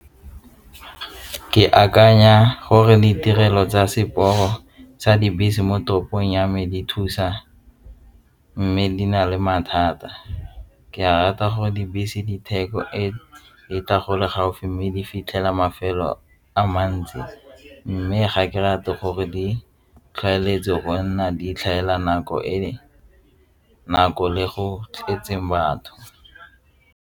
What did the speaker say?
Ke akanya gore ditirelo tsa seporo tsa dibese mo toropong ya me di thusa mme di na le mathata. Ke rata gore dibese diteko e di ka tla gole gaufi mme di fitlhela mafelo a mantsi mme ga ke rate gore di tlhagelele go nna di tlhaela nako e nako e go tletseng batho.